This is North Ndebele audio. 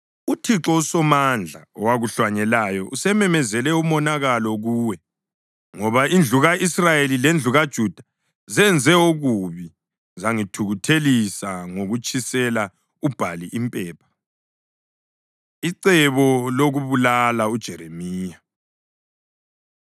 UThixo uSomandla, owakuhlanyelayo, usememezele umonakalo kuwe, ngoba indlu ka-Israyeli lendlu kaJuda zenze okubi zangithukuthelisa ngokutshisela uBhali impepha. Icebo Lokubulala UJeremiya